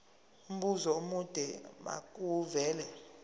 umbuzo omude makuvele